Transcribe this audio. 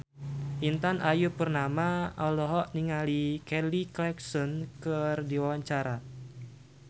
Intan Ayu Purnama olohok ningali Kelly Clarkson keur diwawancara